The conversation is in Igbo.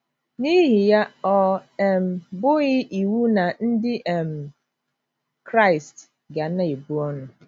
N’ihi ya, ọ um bụghị iwu na Ndị um Kraịst ga na -- ebu ọnụ.